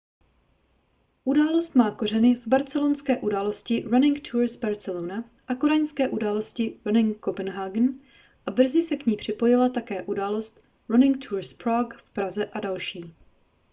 událost má kořeny v barcelonské události running tours barcelona a kodaňské události running copenhagen a brzy se k ní připojila také událost running tours prague v praze a další